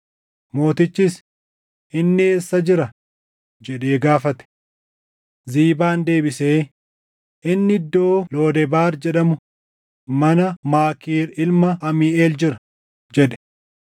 Mootichis, “Inni eessa jira?” jedhee gaafate. Ziibaan deebisee, “Inni iddoo Lodebaar jedhamu mana Maakiir ilma Amiiʼeel jira” jedhe.